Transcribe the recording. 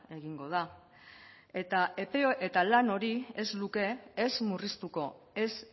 egingo da eta lan hori ez luke ez murriztuko ez